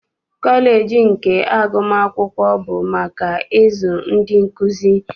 Kọleji nke agụmakwụkwọ bụ maka ịzụ ndị nkuzi.